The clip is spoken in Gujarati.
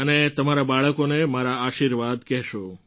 અને તમારા બાળકોને મારા આશીર્વાદ કહેશો